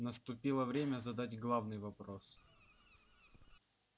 наступило время задать главный вопрос